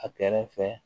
A kɛrɛ fɛ